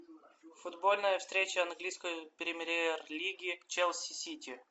футбольная встреча английской премьер лиги челси сити